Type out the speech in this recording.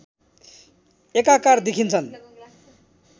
एकाकार देखिन्छन्